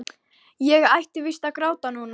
Ég ætti víst að gráta núna.